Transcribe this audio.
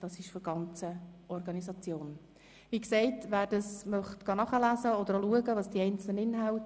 Die Petition stammt von der ganzen Organisation.